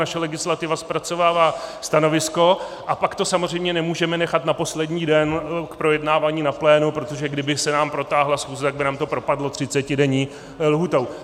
Naše legislativa zpracovává stanovisko, a pak to samozřejmě nemůžeme nechat na poslední den k projednávání na plénu, protože kdyby se nám protáhla schůze, tak by nám to propadlo třicetidenní lhůtou.